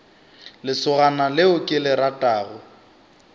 lesogana leo ke le ratago